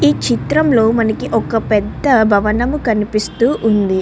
ఈ చిత్రంలో మనకి ఒక పెద్ద భవనం కనిపిస్తూ ఉంది.